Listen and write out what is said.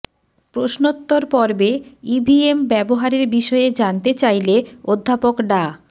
প্রশ্নোত্তর পর্বে ইভিএম ব্যবহারের বিষয়ে জানতে চাইলে অধ্যাপক ডা